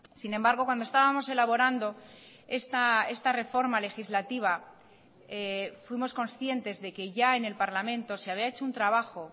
sin embargo cuando estábamos elaborando esta reforma legislativa fuimos conscientes de que ya en el parlamento se había hecho un trabajo